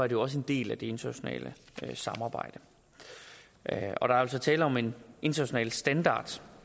jo også en del af det internationale samarbejde der er altså tale om en international standard